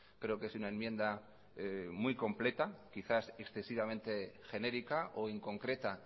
creo que es una enmienda muy completa quizás excesivamente genérica o inconcreta